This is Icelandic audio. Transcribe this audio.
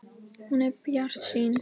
Hún er bjartsýn.